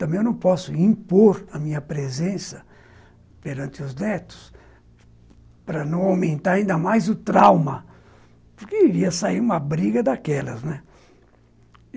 Também eu não posso impor a minha presença perante os netos para não aumentar ainda mais o trauma, porque iria sair uma briga daquelas, né